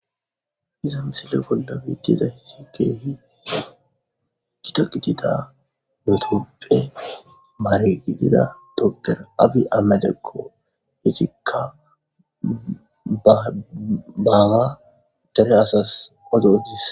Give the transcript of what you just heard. Iza misile bola betizaysi kehipe gita gidida itophe mare gidida dokter abi ahimedeko izika ba baga dere asas odo odes.